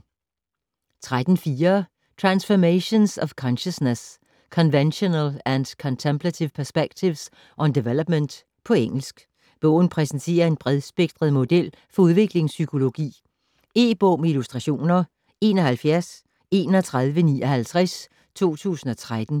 13.4 Transformations of consciousness: conventional and contemplative perspectives on development På engelsk. Bogen præsenterer en bredspektret model for udviklingspsykologi. E-bog med illustrationer 713159 2013.